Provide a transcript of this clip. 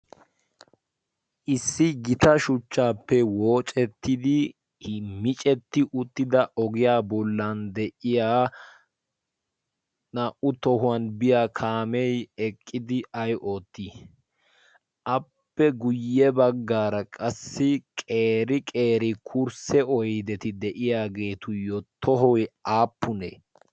Issi gita shuchchappe woocettidi miccetti uttida ogiyaa bollan de'iyaa naa'u tohuwan biya kaame eqqidi ayi ootti? Appe guye baggaara qassi qeeri qeeri kursse oydetti de'iyaagetuyo tohoy appune?